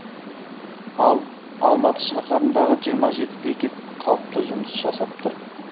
ал алматы шаһарындағы жиырма жеті бекет қалыпты жұмыс жасап тұр